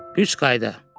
Üç qayda.